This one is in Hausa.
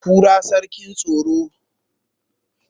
kura sarkin tsaro